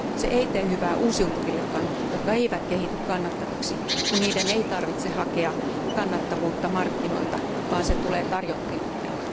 Se ei tee hyvää uusiutuvillekaan, jotka eivät kehity kannattaviksi, kun niiden ei tarvitse hakea kannattavuutta markkinoilta, vaan se tulee tarjottimella.